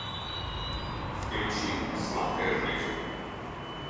включи сладкая жизнь